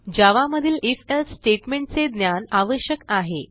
जावा मधील if else statement चे ज्ञान आवश्यक आहे